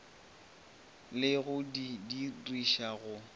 le go di didiriša go